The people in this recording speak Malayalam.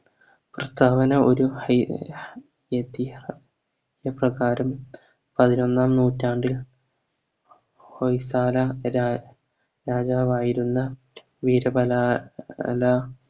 കർത്താവിന് ഒരു ഹൈ ഉപകാരം പതിനൊന്നാം നൂറ്റാണ്ടിൽ ര രാജാവായിരുന്നു വീരബല